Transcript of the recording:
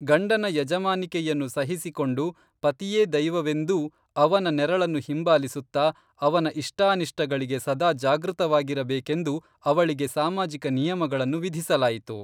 ಗಂಡನ ಯಜಮಾನಿಕೆಯನ್ನು ಸಹಿಸಿಕೊಂಡು ಪತಿಯೇ ದೈವವೆಂದೂ ಅವನ ನೆರಳನ್ನು ಹಿಂಬಾಲಿಸುತ್ತಾ ಅವನ ಇಷ್ಟಾನಿಷ್ಟಗಳಿಗೆ ಸದಾ ಜಾಗೃತವಾಗಿರಬೇಕೆಂದು ಅವಳಿಗೆ ಸಾಮಾಜಿಕ ನಿಯಮಗಳನ್ನು ವಿಧಿಸಲಾಯಿತು.